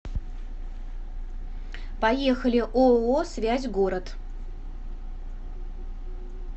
поехали ооо связь город